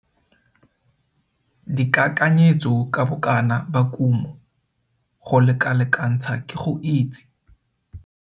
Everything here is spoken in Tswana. DIKAKANYETSO KA BOKANA BA KUMO, go lekalekantsha ke go itse